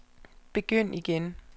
begynd igen